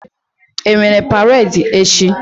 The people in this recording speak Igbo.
E nwere paredi echi?